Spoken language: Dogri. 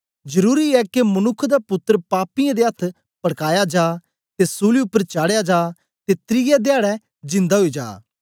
जरुरी ऐ के मनुक्ख दा पुत्तर पापीऐं दे अथ्थ पड़काया जा ते सूली उपर चाढ़या जा ते त्रिऐ धयाडै जिंदा ओई जा